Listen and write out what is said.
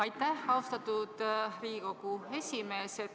Aitäh, austatud Riigikogu esimees!